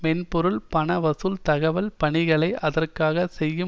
மென்பொருள் பண வசூல் தகவல் பணிகளை அதற்காக செய்யும்